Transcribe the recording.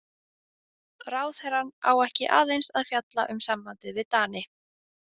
Ráðherrann á ekki aðeins að fjalla um sambandið við Dani.